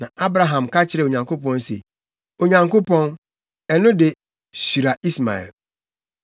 Na Abraham ka kyerɛɛ Onyankopɔn se, “Onyankopɔn ɛno de, hyira Ismael!”